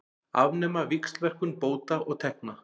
Afnema víxlverkun bóta og tekna